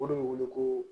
O de bɛ wele ko